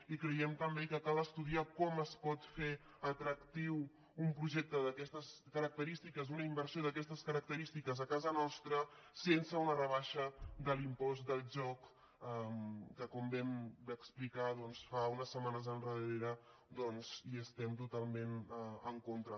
i creiem també que cal estudiar com es pot fer atractiu un projecte d’aquestes característiques una inversió d’aquestes característiques a casa nostra sense una rebaixa de l’impost del joc que com vam explicar doncs fa unes setmanes hi estem totalment en contra